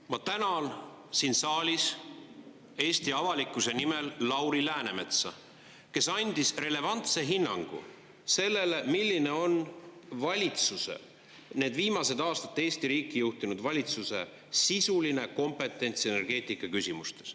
Ma tänan siin saalis Eesti avalikkuse nimel Lauri Läänemetsa, kes andis relevantse hinnangu sellele, milline on valitsuse, need viimased aastat Eesti riiki juhtinud valitsuse sisuline kompetents energeetikaküsimustes.